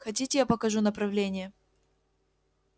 хотите я покажу направление